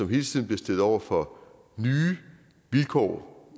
hele tiden stillet over for nye vilkår